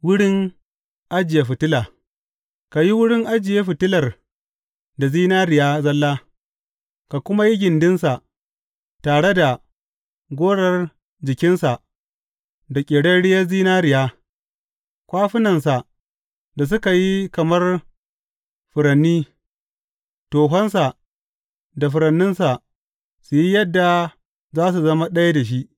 Wurin ajiye fitila Ka yi wurin ajiye fitilar da zinariya zalla, ka kuma yi gindinsa tare da gorar jikinsa da ƙerarriyar zinariya; kwafunansa da suka yi kamar furanni, tohonsa da furanninsa su yi yadda za su zama ɗaya da shi.